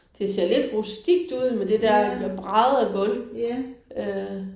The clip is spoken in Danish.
Det ser lidt rustikt ud med det der bræddegulv øh